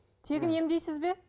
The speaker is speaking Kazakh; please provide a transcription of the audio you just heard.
тегін емдейсіз бе